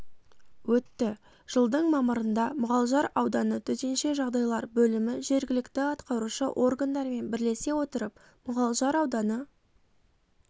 өтті жылдың мамырында мұғалжар ауданы төтенше жағдайлар бөлімі жергілікті атқарушы органдармен бірлесе отырып мұғалжар ауданы